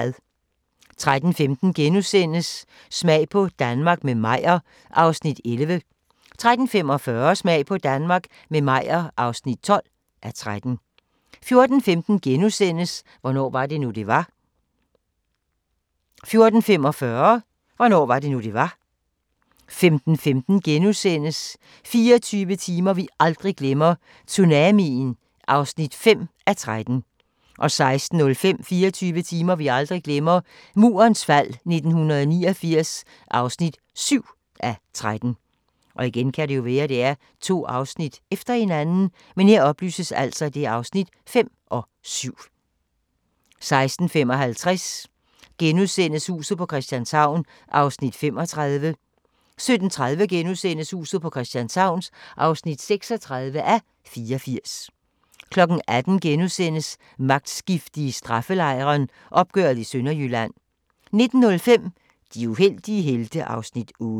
13:15: Smag på Danmark – med Meyer (11:13)* 13:45: Smag på Danmark – med Meyer (12:13) 14:15: Hvornår var det nu, det var? * 14:45: Hvornår var det nu, det var? 15:15: 24 timer vi aldrig glemmer – Tsunamien (5:13)* 16:05: 24 timer vi aldrig glemmer – Murens fald 1989 (7:13) 16:55: Huset på Christianshavn (35:84)* 17:30: Huset på Christianshavn (36:84)* 18:00: Magtskifte i straffelejren – opgøret i Sønderjylland * 19:05: De uheldige helte (Afs. 8)